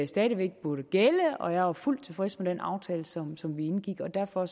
stadig væk burde gælde og jeg er fuldt tilfreds med den aftale som som vi indgik og derfor